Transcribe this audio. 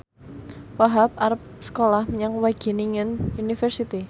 Wahhab arep sekolah menyang Wageningen University